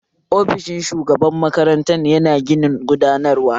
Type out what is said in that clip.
Ofishin shugaban makaranta yana ginin gudanarwa